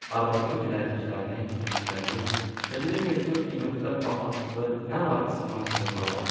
Arvadımın bilərziyklərini, üzüklərini, çəkidə yüngül, qiymətdə bahalı nə varıdısa, hamısını çalıb apardı.